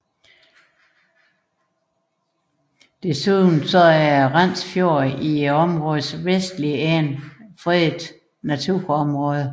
Desuden er Rands fjord i områdets vestlige ende fredet naturområde